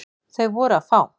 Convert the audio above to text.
Þau voru fá.